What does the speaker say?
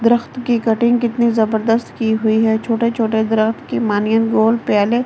दरख्त की कटिंग कितनी जबरदस्त की हुई है छोटे-छोटे दरख्त की मानियन गोल प्याले --